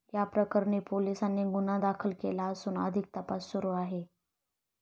याप्रकरणी पोलिसांनी गुन्हा दाखल केला असून अधिक तपास सुरू आहे.